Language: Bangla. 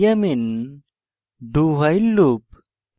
i am in dowhile loop